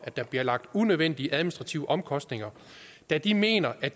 at der blive pålagt unødvendige administrative omkostninger da de mener at